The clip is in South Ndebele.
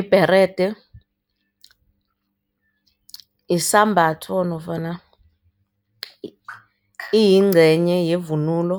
Ibherede isambatho nofana iyincenye yevunulo